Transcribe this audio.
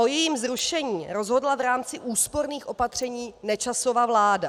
O jejím zrušení rozhodla v rámci úsporných opatření Nečasova vláda.